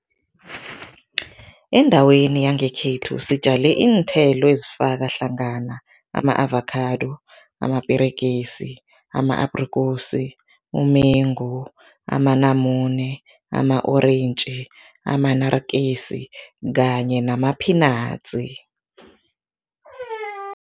Endaweni yangekhethu sitjale iinthelo ezifaka hlangana, ama-avakhado, amaperegisi, ama-aprikosi, umengu, amanamune, ama-orentji, ama-naartjies kanye nama-peanuts.